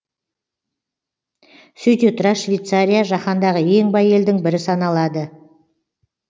сөйте тұра швейцария жаһандағы ең бай елдің бірі саналады